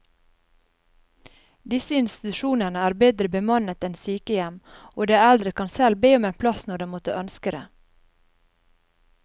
Disse institusjonene er bedre bemannet enn sykehjem, og de eldre kan selv be om en plass når de måtte ønske det.